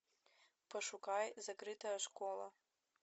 пошукай закрытая школа